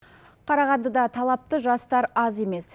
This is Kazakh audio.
қарағандыда талапты жастар аз емес